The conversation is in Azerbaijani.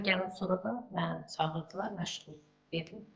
Bura gələndən sonra da məni çağırdılar məşğul edib.